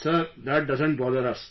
Sir, that doesn't bother us